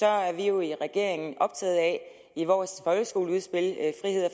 er vi jo i regeringen optaget af i vores folkeskoleudspil